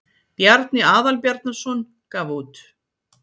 Bjarni Aðalbjarnarson gaf út.